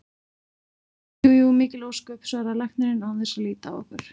Jú jú, mikil ósköp, svaraði læknirinn án þess að líta á okkur.